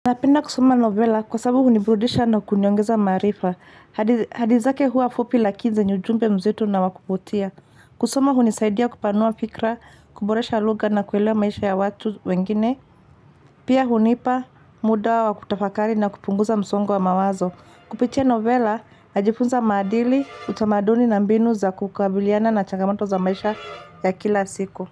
Napenda kusoma novela kwa sababu hunibrudisha na kuniongeza maarifa. Hadithi zake hua fupi lakini zenye ujumpe mzito na wa kuvutia. Kusoma hunisaidia kupanua fikra, kuboresha lugha na kuelewa maisha ya watu wengine. Pia hunipa muda wa kutafakari na kupunguza msongo wa mawazo. Kupitia novela, najifunza maadili, utamaduni na mbinu za kukabiliana na chagamato za maisha ya kila siku.